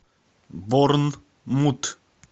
борнмут